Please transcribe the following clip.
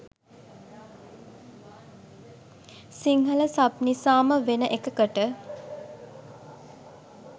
Sinhala sub නිසාම වෙන එකකට